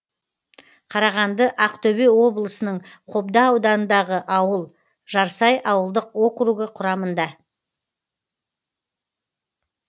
қарағанды ақтөбе облысының қобда ауданындағы ауыл жарсай ауылдық округі құрамында